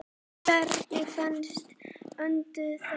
Hvernig fannst Vöndu þetta?